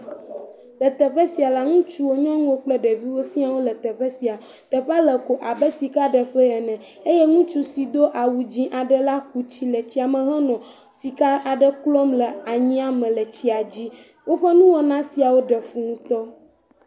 Le teɔe sia la, ŋutsuwo, nyɔnuwo kple ɖeviwo siaa le teƒe sia, teƒea le ko abe sikaɖeƒe ene eye ŋutsu aɖe si do awu dzɛ̃ aɖe la ku tsi le tsia me henɔ sika aɖe klɔm le anyia me le tsia dzi, woƒe nuwɔna siawo ɖe fu ŋutɔ.